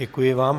Děkuji vám.